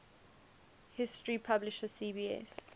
history publisher cbs